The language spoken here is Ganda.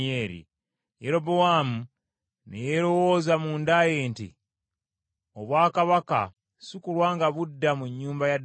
Yerobowaamu ne yeerowooza munda ye nti, “Obwakabaka sikulwa nga budda mu nnyumba ya Dawudi!